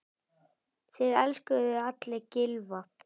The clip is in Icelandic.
Það elskuðu allir Gylfa.